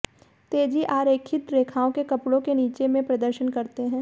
तेजी आरेखित रेखाओं के कपड़े के नीचे में प्रदर्शन करते हैं